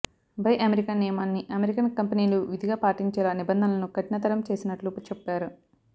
buy American నియమాన్ని American company లు విధిగా పాటించేలా నిబంధనలను కఠిన తరం చేసినట్లు చెప్పారు